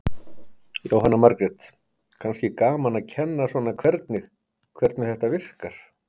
Jóhanna Margrét: Kannski gaman að kenna svona hvernig, hvernig þetta virkar?